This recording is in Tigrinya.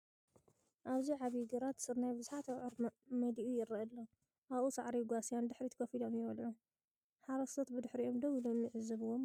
ኣብዚ ዓቢ ግራት ግራት ስርናይ ብብዙሓት ኣብዑር መሊኡ ይረአ ኣሎ፡ ኣብኡ ሳዕሪ ይጓስያ፡ ንድሕሪት ኮፍ ኢሎም ይበልዑ። ሓረስቶት ብድሕሪኦም ደው ኢሎም ይዕዘብዎም ኣለዉ።